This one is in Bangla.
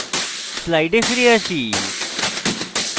slides ফিরে আসি